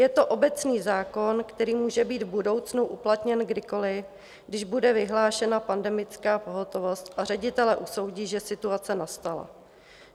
Je to obecný zákon, který může být v budoucnu uplatněn kdykoliv, když bude vyhlášena pandemická pohotovost a ředitelé usoudí, že situace nastala.